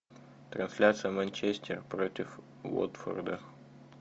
трансляция манчестер против уотфорда